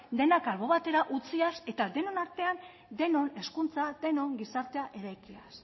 denak albo batera utziaz eta denon artean denon hezkuntza denon gizartea eraikiaz